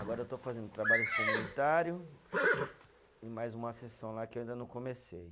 Agora eu estou fazendo trabalho comunitário e mais uma sessão lá que eu ainda não comecei.